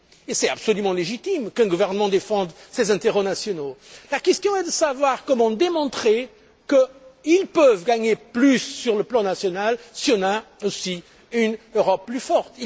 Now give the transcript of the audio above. Et il est absolument légitime qu'un gouvernement défende ses intérêts nationaux. La question est de savoir comment démontrer qu'ils peuvent gagner plus sur le plan national si on a aussi une Europe plus forte.